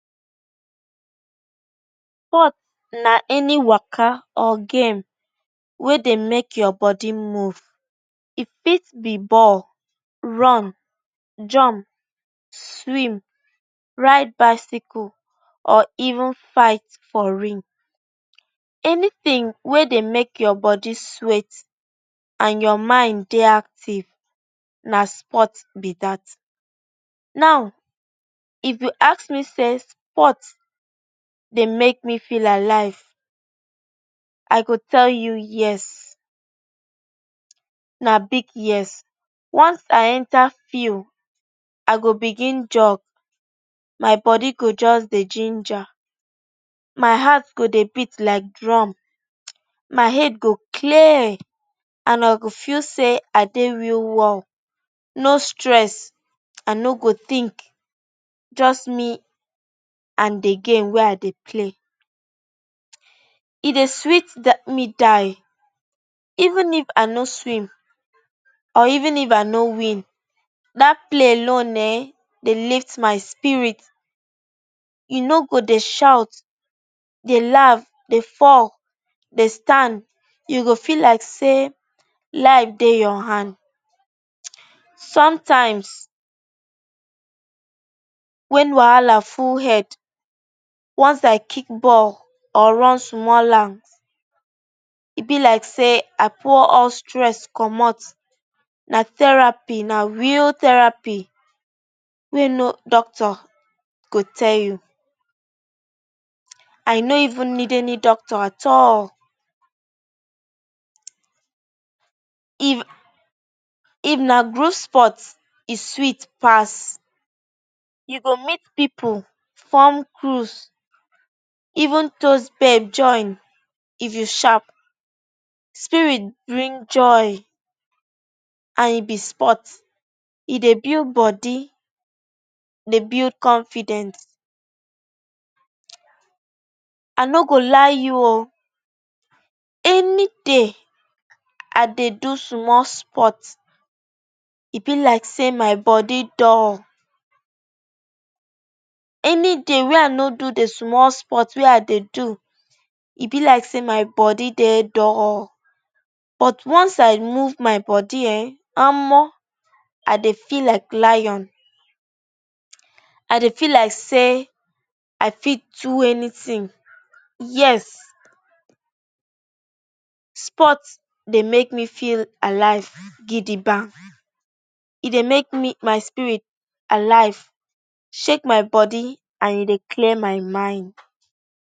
Sport na any waka or game wey dey mek your body move. E fit be ball, run, jump, swim, ride bicycle or even fight for ring. Anytin wey dey mek your body sweat, and your mind dey active, na sport be dat. Now, if you ask me say sport dey mek me feel alive, I go tell you yes. Na big yes. Once I enter field, I go begin jog, my body go just dey ginger, my heart go dey beat like drum, my head go clear and I go feel sey I dey real world. No stress, I no go think just me and de game wey I dey play. E dey sweet die me die. Even if I no swim, or even if I no win. Dat play alone eh, dey lift my spirit. E no go dey shout, dey laugh, dey fall, dey stand, you go feel like say life dey your hand. Sometimes, wen wahala full head, once I kick ball or run small lap, e be like say I pour hot stress commot, na therapy, na real therapy wey no doctor go tell you. I no even need any doctor at all. If, if na group sport, e sweet pass. You go meet pipu form cruze, even join, if you sharp, spirit bring joy and e be sport, e dey build body, dey build confident. I no go lie you o. Any day wey I no do de small sport wey I dey do, e be like sey my body dey dull, but once I move my body um, omo! I dey feel like lion. I dey feel like sey I fit do anytin. Yes, sport dey mek me feel alive gidiba. E dey mek me, my spirit alive, shake my body and e dey clear my mind.